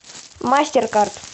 мастеркард